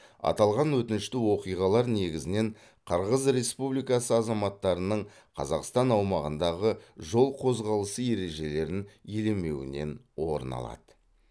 аталған өкінішті оқиғалар негізінен қырғыз республикасы азаматтарының қазақстан аумағындағы жол қозғалысы ережелерін елемеуінен орын алады